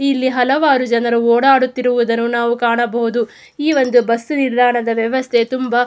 ಇಲ್ಲಿ ಹಲವಾರು ಜನರು ಓಡಾಡುತ್ತಿರುವುದನ್ನು ನಾವು ಕಾಣಬಹುದು ಈ ಒಂದು ಬಸ್ ನಿಲ್ದಾಣದ ವ್ಯವಸ್ಥ ತುಂಬಾ --